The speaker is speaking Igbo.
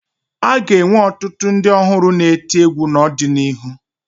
A ga-enwe ọtụtụ ndị ọhụrụ na-eti egwu n'ọdịnihu